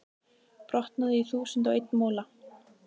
brotnaði í þúsund og einn mola.